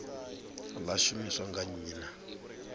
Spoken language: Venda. ḽa shumiswa nga nnyi na